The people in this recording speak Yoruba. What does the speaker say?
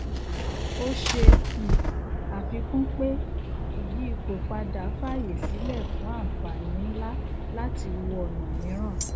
o ṣe um àfikún pé ìyí ipò padà faaye sílẹ fún ànfàní nlá láti wò ọna mìíràn